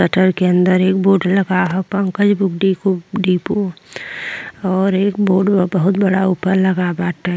Shutter के अंदर एक बोर्ड लगा ह पंकज बुक डिको डिपो और एक बोर्ड बा बहुत बड़ा ऊपर लगल बाटे।